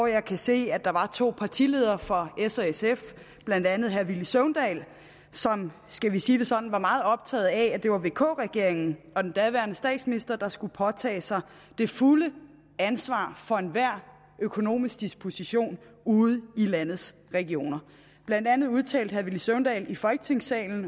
jeg kan se at der var to partiledere fra s og sf blandt andet herre villy søvndal som skal vi sige det sådan var meget optaget af at det var vk regeringen og den daværende statsminister der skulle påtage sig det fulde ansvar for enhver økonomisk disposition ude i landets regioner blandt andet udtalte herre villy søvndal i folketingssalen